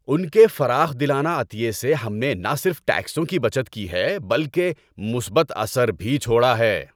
ان کے فراخ دلانہ عطیے سے ہم نے نہ صرف ٹیکسوں کی بچت کی ہے بلکہ مثبت اثر بھی چھوڑا ہے!